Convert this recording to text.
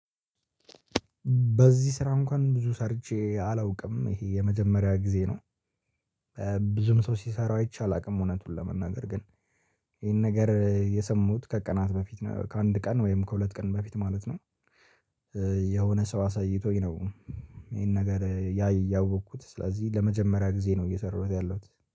በዚህ ስራ እንኳን ብዙ ሰርቼ አላውቅም ይሄ የመጀመሪያ ጊዜ ነው። ብዙም ሰው ሲሰራው አይቼ አላውቅም እውነቱን ለመናገር ግን ይሄን ነገር የሰማውት ከቀናት በፊት ነው ከአንድ ቀን ወይም ከሁለት ቀን በፊት ማለት ነው። የሆነ ሰው አሳይቶኝ ነው ይሄን ነገር። ያወኩት ስለዚህ ለመጀመሪያ ጊዜ ነው እየሰራሁት ያለሁት።